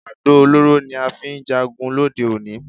Àdó olóró ni a fi ń jagun lóde òní